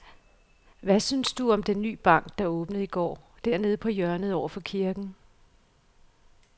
Hvad synes du om den nye bank, der åbnede i går dernede på hjørnet over for kirken?